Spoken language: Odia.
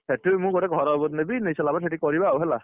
ସେଠି ମୁଁ ଗୋଟେ ଘର ନେବି, ନେଇସାରିଲା ପରେ ସେଠି କରିବା ଆଉ ହେଲା।